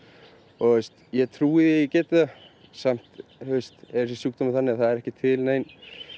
og ég trúi geti það samt er þessi sjúkdómur þannig að það er ekki til nein